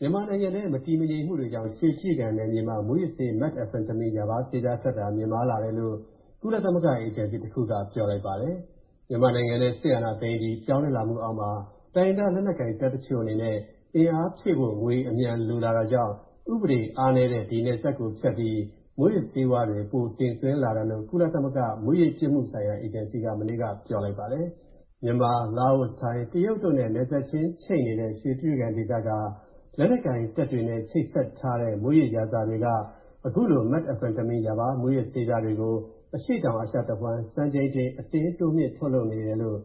မြန်မာနိုင်ငံထဲ မတည်မငြိမ်မူတွေကြောင့် ရွှေတြိဂံနယ်မြေမှာ၊ မူးယစ်ဆေး Methamphetamine ရာဘားဆေးပြားထွက်တာ မြင့်မားလာတယ်လို့၊ ကုလသမဂ္ဂ အေဂျင်စီတစ်ခုက ပြောလိုက်ပါတယ်။ မြန်မာနိုင်ငံထဲစစ်အာဏာသိမ်းအပြီး၊ ပြောင်းလဲလာမူအောက်မှာ၊ တိုင်းရင်းသားလက်နက်ကိုင်တပ်တချို.အနေနဲ့ အင်အားဖြည့်ဖို့ ငွေအမြန်လိုလာတာကြောင့်၊ ဥပဒေအားနည်းတဲ့ နယ်စပ်ဖြတ်ပြီး၊ မူးယစ်ဆေးပြားတွေ ပိုတင်သွင်းလာတာလို့၊ ကုလသမဂ္ဂ မူးယစ်ပြစ်မူဆိုင်ရာအေဂျင်စီက မနေ့က ပြောလိုက်ပါတယ်။ လာအို၊ ထိုင်း၊ တရုတ်တို့နဲ့ နယ်စပ်ချိတ်နေတဲ့ ဒီရွေတြိဂံဒေသက လက်နက်ကိုင်တပ်တွေနဲ့ ချိတ်ဆက်ထားနေတဲ့၊ မူးယစ်ရာဇာတွေက အခုလို Methamphetamine ရာဘား မူးယစ်ဆေးပြားတွေကို၊ အရှေ.တောင်အာရှတဝှမ်း၊ စံချိန်တင် အတင်းတိုးမြှင့်ထုတ်လုပ်လာနေတယ်လို့